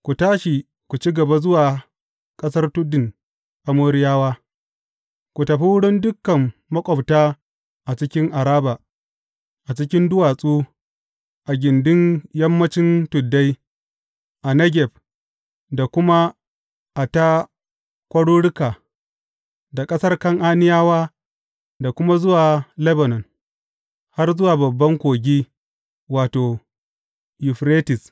Ku tashi, ku ci gaba zuwa ƙasar tudun Amoriyawa; ku tafi wurin dukan maƙwabta a cikin Araba, a cikin duwatsu, a gindin yammancin tuddai, a Negeb da kuma a ta kwaruruka, da ƙasar Kan’aniyawa da kuma zuwa Lebanon, har zuwa babban kogi, wato, Yuferites.